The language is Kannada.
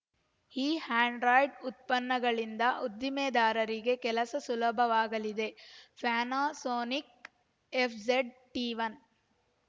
ಈ ಆ್ಯಂಡ್ರಾಯ್ಡ್‌ ಉತ್ಪನ್ನಗಳಿಂದ ಉದ್ದಿಮೆದಾರರಿಗೆ ಕೆಲಸ ಸುಲಭವಾಗಲಿದೆ ಪ್ಯಾನಾಸೋನಿಕ್‌ನ ಎಫ್‌ಜಡ್‌ಟಿ ಒನ್